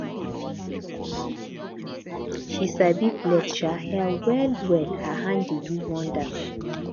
she sabi plait um hair wellwell her hand dey do wonders